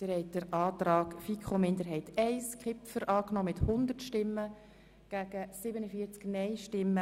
Sie haben den Antrag der FiKo-Minderheit I von Grossrat Kipfer angenommen.